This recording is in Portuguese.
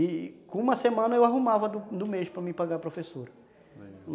E com uma semana eu arrumava do mês para me pagar a professora.